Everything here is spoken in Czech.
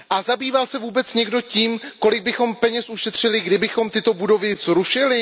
Zabýval se vůbec někdo tím, kolik bychom peněz ušetřili, kdybychom tyto budovy zrušili?